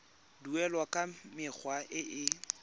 duelwa ka mekgwa e e